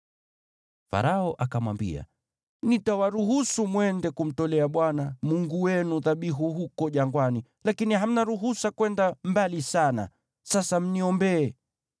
Farao akamwambia, “Nitawaruhusu mwende kumtolea Bwana Mungu wenu dhabihu huko jangwani, lakini hamna ruhusa kwenda mbali sana. Sasa mniombee.”